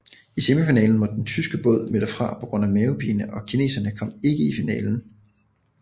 I semifinalen måtte den tyske båd melde fra på grund af mavepine og kineserne kom ikke i finalen